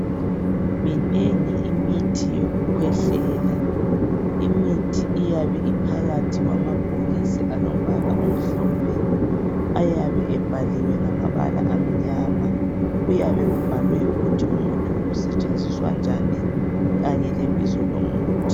Minengi imithi yokukhwehlela imithi iyabe iphakathi kawamabhokisi alombala omhlophe ayabe ebhaliwe ngamabala amnyama kuyabe kubhalwe ukuthi umuthi usetshenziswa njani kanye lebizo lomuthi.